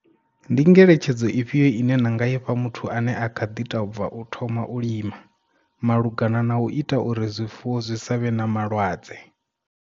Ndi ngeletshedzo ifhio ine na nga ifha muthu ane a kha ḓi tou bva u thoma u lima, malugana na u ita uri zwifuwo zwi savhe na malwadze?